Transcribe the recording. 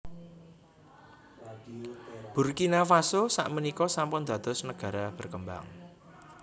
Burkina Faso sak menika sampun dados negara berkembang